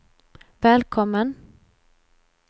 välkommen